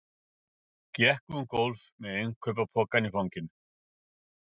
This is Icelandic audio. Gekk um gólf með innkaupapokann í fanginu.